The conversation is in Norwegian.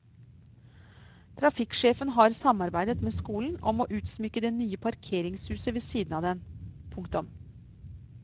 Trafikksjefen har samarbeidet med skolen om å utsmykke det nye parkeringshuset ved siden av den. punktum